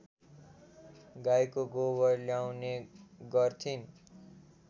गाईको गोबर ल्याउने गर्थिन्